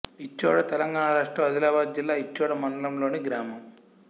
ఇచ్చోడ తెలంగాణ రాష్ట్రం ఆదిలాబాదు జిల్లా ఇచ్చోడ మండలంలోని గ్రామం